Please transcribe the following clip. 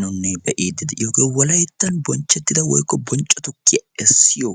Nuuni be'idde de'iyooge wolayttan sawo tukiya essiyo